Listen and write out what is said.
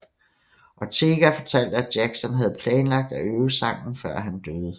Ortega fortalte at Jackson havde planlagt at øve sangen før han døde